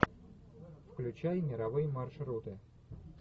включай мировые маршруты